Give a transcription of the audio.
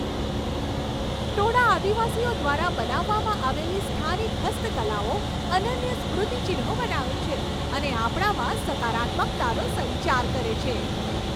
ટોડા આદિવાસીઓ દ્વારા બનાવવામાં આવેલી સ્થાનિક હસ્તકલાઓ અનન્ય સ્મૃતિચિહ્નો બનાવે છે અને આપણામાં સકારાત્મકતાનો સંચાર કરે છે.